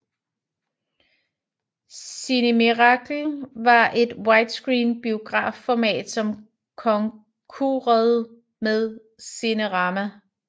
Cinemiracle var et widescreen biografformat som konkurede med Cinerama